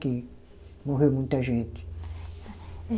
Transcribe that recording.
Que morreu muita gente.